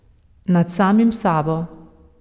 Nad samim sabo.